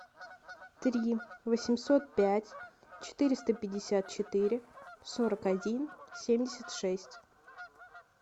три восемьсот пять четыреста пятьдесят четыре сорок один семьдесят шесть